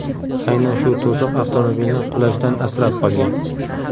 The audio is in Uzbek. Aynan shu to‘siq avtomobilni qulashdan asrab qolgan.